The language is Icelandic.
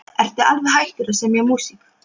Ertu alveg hættur að semja músík?